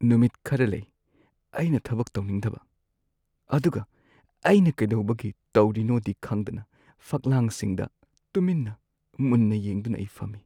ꯅꯨꯃꯤꯠ ꯈꯔ ꯂꯩ ꯑꯩꯅ ꯊꯕꯛ ꯇꯧꯅꯤꯡꯗꯕ ꯑꯗꯨꯒ ꯑꯩꯅ ꯀꯩꯗꯧꯕꯒꯤ ꯇꯧꯔꯤꯅꯣꯗꯤ ꯈꯪꯗꯅ ꯐꯛꯂꯥꯡꯁꯤꯡꯗ ꯇꯨꯃꯤꯟꯅ ꯃꯨꯟꯅ ꯌꯦꯡꯗꯨꯅ ꯑꯩ ꯐꯝꯃꯤ꯫